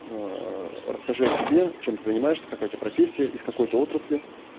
расскажи о себе чем ты занимаешься какая у тебя профессия из какой ты отрасли